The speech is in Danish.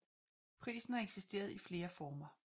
Prisen har eksisteret i flere former